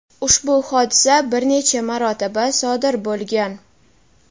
ushbu hodisa bir necha marotaba sodir bo‘lgan.